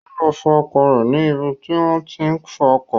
Ó lọ fọ ọkọ̀ rẹ̀ ní ibi tí wọ́n tí ń fọ ọkọ̀